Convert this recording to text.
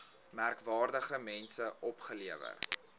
merkwaardige mense opgelewer